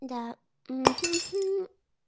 да хи хи хи